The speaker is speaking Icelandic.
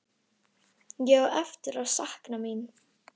Ég á eftir að sakna mín.